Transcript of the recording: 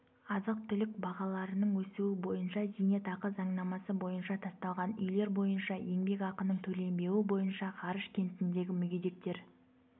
азық-түлік бағаларының өсуі бойынша зейнетақы заңнамасы бойынша тасталған үйлер бойынша еңбекақының төленбеуі бойынша ғарыш кентіндегі мүгедектер